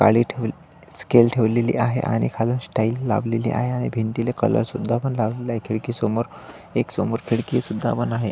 खाली ठेव स्केल ठेवलेली आहे आणि खालून स्टाइल लावलेली आहे आणि भिंतीला कलर सुद्धा पण लावलेलाय. खिडकीसमोर एक समोर खिडकी सुद्धा पण आहे.